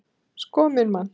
Sko minn mann!